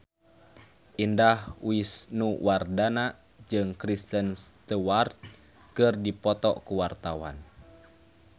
Indah Wisnuwardana jeung Kristen Stewart keur dipoto ku wartawan